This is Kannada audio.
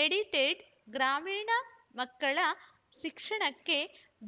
ಎಡಿಟೆಡ್‌ ಗ್ರಾಮೀಣ ಮಕ್ಕಳ ಶಿಕ್ಷಣಕ್ಕೆ